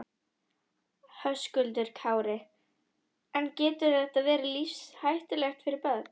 Höskuldur Kári: En getur þetta verið lífshættulegt fyrir börn?